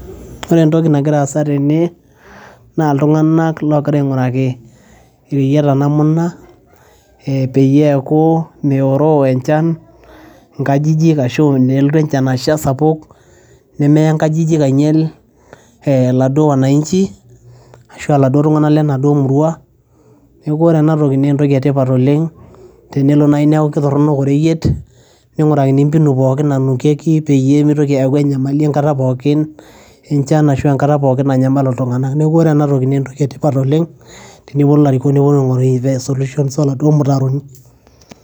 ore entoki nagiraa aasa tene naa iltung'anak logira aing'uraki ireyiata namna ee peyie eeku meoroo enchan inkajijik ashu nelotu enchan asha sapuk nemeya nkajijik ainyiel ee laduo wananchi ashua iladuo tung'anak lenaduo murua neeku ore enatoki naa entoki etipat oleng tenelo naaji neeku kitorronok oreyiet ning'urakini mpinu pookin nanukieki peyie mitoki aaku enyamali enkata pookin enchan ashu enkata pookin nanyamalu iltung'anak neku ore enatoki naa entoki etipat oleng teneponu ilarikok neponu aing'oru solutions oladuo mutaroni.